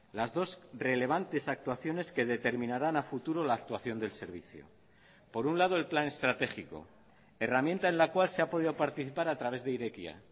las dos relevantes actuaciones que determinarán a futuro la actuación del servicio por un lado el plan estratégico herramienta en la cual se ha podido participar a través de irekia